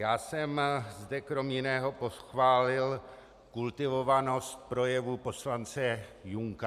Já jsem zde kromě jiného pochválil kultivovanost projevu poslance Junka.